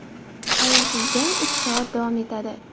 Ayovsiz jang uch soat davom etadi.